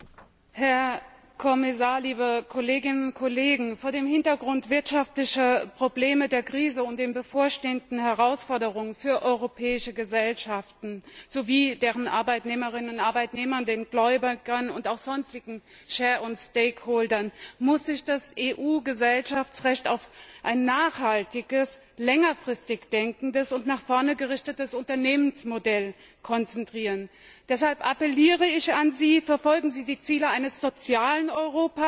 Herr Präsident, Herr Kommissar, liebe Kolleginnen und Kollegen! Vor dem Hintergrund wirtschaftlicher Probleme, der Krise und der Herausforderungen, die europäischen Gesellschaften sowie deren Arbeitnehmerinnen und Arbeitnehmern, den Gläubigern und auch sonstigen Shareholdern und Stakeholdern bevorstehen, muss sich das EU Gesellschaftsrecht auf ein nachhaltiges, längerfristig denkendes und nach vorne gerichtetes Unternehmensmodell konzentrieren. Deshalb appelliere ich an Sie Verfolgen Sie die Ziele eines sozialen Europas.